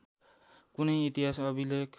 कुनै इतिहास अभिलेख